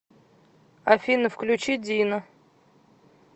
афина включи дино